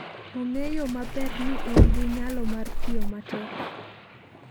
Ong'eyo maber ni en gi nyalo mar tiyo matek.